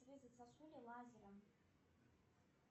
резать сосули лазером